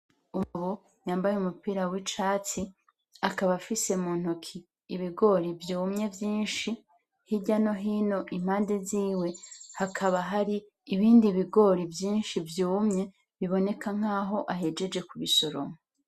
Umugabo yambaye umupira w'icatsi, akaba afise mu ntoki ibigori vyumye vyinshi, hirya no hino impande ziwe hakaba hari ibindi bigori vyinshi vyumye biboneka nkaho ahejeje kubisoroma.